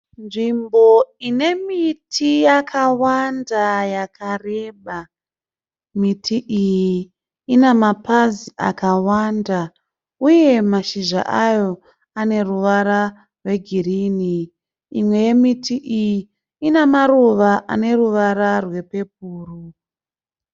Nzvimbo inemiti yakareba yakawanda. Miti iyi inemapazi akawanda uye mashizha ayo aneruvara rwegreen uye imwe yemiti iyi ine ruvara rwepurple